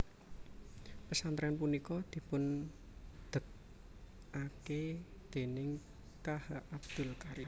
Pesantren punika dipun degake déning K H Abdul Karim